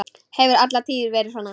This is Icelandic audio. Hefur alla tíð verið svona.